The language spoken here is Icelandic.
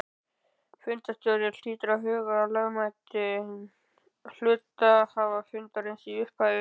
Fundarstjóri hlýtur að huga að lögmæti hluthafafundarins í upphafi.